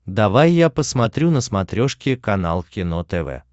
давай я посмотрю на смотрешке канал кино тв